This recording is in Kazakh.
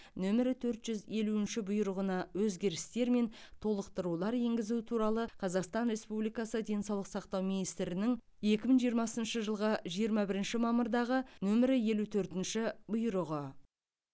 нөмірі төрт жүз елуінші бұйрығына өзгерістер мен толықтырулар енгізу туралы қазақстан республикасы денсаулық сақтау министрінің екі мың жиырмасыншы жылғы жиырма бірінші мамырдағы нөмірі елу төртінші бұйрығы